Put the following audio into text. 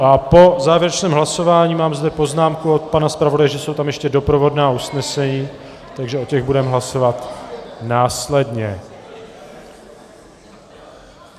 Ano, a po závěrečném hlasování, mám zde poznámku od pana zpravodaje, že jsou tam ještě doprovodná usnesení, takže o těch budeme hlasovat následně.